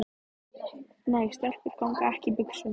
Nei, stelpur ganga ekki í buxum.